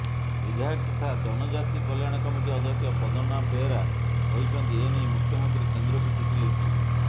ବିଧାୟକ ତଥା ଜନଜାତି କଲ୍ୟାଣ କମିଟି ଅଧ୍ୟକ୍ଷ ପଦ୍ମନାଭ ବେହେରା କହିଛନ୍ତି ଏନେଇ ମୁଖ୍ୟମନ୍ତ୍ରୀ କେନ୍ଦ୍ରକୁ ଚିଠି ଲେଖିଛନ୍ତି